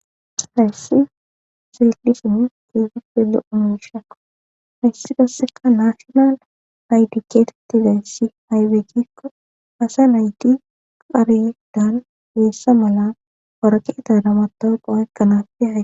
hayssi silisin goofi pele unushakko hayssi doseka naashional haytikeete tizayssi hayweekikko asa nayti qarilegdan geessa mala woraqee taramatoqhooekkanafe ahe